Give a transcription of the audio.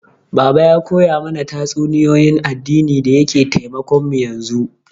Baba ya koya mana tatsuniyoyin addini da yake taimakon mu yanzu